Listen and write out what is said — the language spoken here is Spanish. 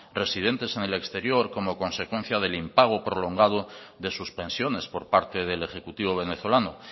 residentes en el exterior como consecuencia del impago prolongado de sus pensiones por parte del ejecutivo venezolano